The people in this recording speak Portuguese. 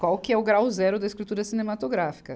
Qual que é o grau zero da escritura cinematográfica?